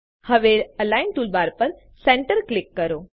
હવે align toolbar પર centre click કરો